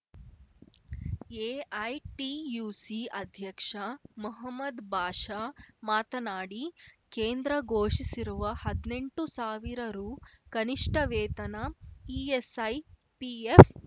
AITUC ಅಧ್ಯಕ್ಷ ಮೊಹಮ್ಮದ್‌ಭಾಷಾ ಮಾತನಾಡಿ ಕೇಂದ್ರ ಘೋಷಿಸಿರುವ ಹದ್ನೆಂಟು ಸಾವಿರ ರೂ ಕನಿಷ್ಠ ವೇತನ ಇಎಸ್‌ಐ ಪಿಎಫ್‌